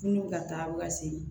N'u bɛ ka taa bɛ ka segin